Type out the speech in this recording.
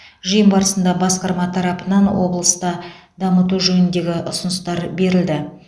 жиын барысында басқарма тарапынан облыста дамыту жөніндегі ұсыныстар берілді